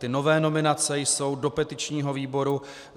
Ty nové nominace jsou do petičního výboru.